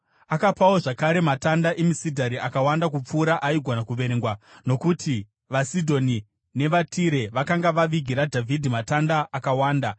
Akapawo zvakare matanda emisidhari akawanda kupfuura aigona kuverengwa, nokuti vaSidhoni nevaTire vakanga vavigira Dhavhidhi matanda akawanda.